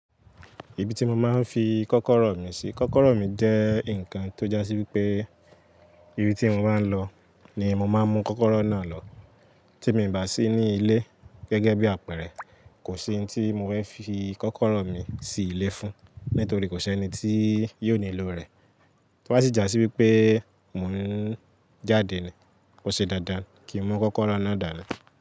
Ibi tí mo máa ń fi kọ́kọ́rọ́ mi sí. Kọ́kọ́rọ́ mi jẹ́ nǹkan tó jásí wípé ibi tí mo bá ń lọ ni mo máa ń mú kọ́kọ́rọ́ náà lọ. Tí mi ì bá sí ní ilé gẹ́gẹ́ bí àpẹẹrẹ, kò sí ohun tí mo fẹ́ fi kọ́kọ́rọ́ mi sí ilé fún, nítorí kò ṣe ẹni tí yóò nílò rẹ̀. Tó bá sì jásí wípé mò ń jáde ni, ó ṣe dáadáa kí n mú kọ́kọ́rọ́ náà dàle.